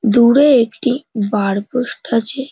দূরে একটি bar post আছে।